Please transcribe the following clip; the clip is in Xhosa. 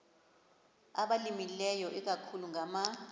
abalimileyo ikakhulu ngama